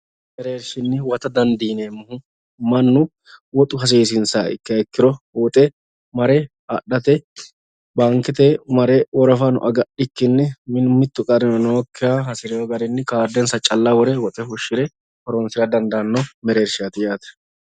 Owaantete mereershinni huwatta dandiineemohu manu woxu hasiisinsaha ikkiha ikkiro mare adhate baankete mare tarano agadhikinni mitu garino nookiha hasireo garinni kaardensa calla wore woxxe fushire horoonsira andaano mereershati yaate.